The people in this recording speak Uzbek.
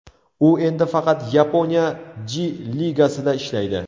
U endi faqat Yaponiya J-ligasida ishlaydi.